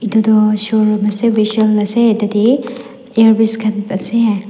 edu toh showroom ase vishal ase tatae earpiece khan ase.